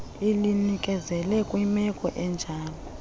ulinikezele kwimeko enjalo